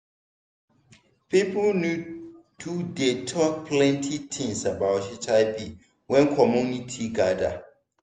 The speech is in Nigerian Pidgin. people need to dey talk plenty things about hiv wen community gather